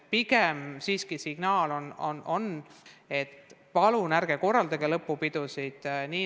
Pigem siiski on meie signaal palve, et palun ärge korraldage lõpupidusid.